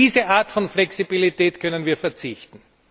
Auf diese Art von Flexibilität können wir verzichten.